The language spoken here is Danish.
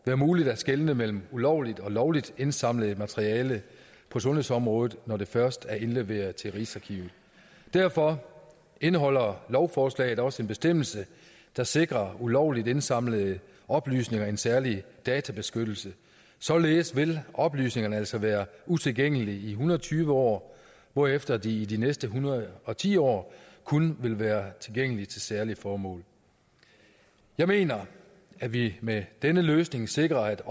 være muligt at skelne mellem ulovligt og lovligt indsamlet materiale på sundhedsområdet når det først er indleveret til rigsarkivet derfor indeholder lovforslaget også en bestemmelse der sikrer ulovligt indsamlede oplysninger en særlig databeskyttelse således vil oplysningerne altså være utilgængelige i en hundrede og tyve år hvorefter de i de næste en hundrede og ti år kun vil være tilgængelige til særlige formål jeg mener at vi med denne løsning sikrer at